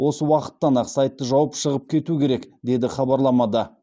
осы уақыттан ақ сайтты жауып шығып кету керек деді хабарламада